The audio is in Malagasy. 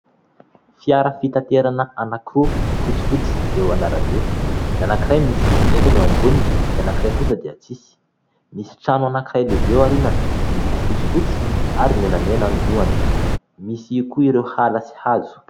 Fiara fitanterana anankiroa fotsifotsy eo an'arabe, ny anankiray misy entana eo amboniny, ny anankiray kosa dia tsisy. Misy trano anankiray lehibe ao aorinany miloko fotsifotsy ary menamena no lohany misy koa ireo ala sy hazo.